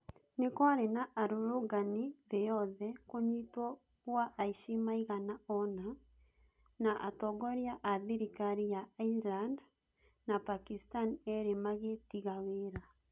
Nĩkwarĩ na arũrũngani thĩĩ yothe, kũnyitwo gwa aici maigana ona, na atongoria a thirikari ya Iceland na Pakistan eerĩ magĩtiga wĩra.